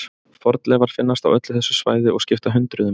Fornleifar finnast á öllu þessu svæði og skipta hundruðum.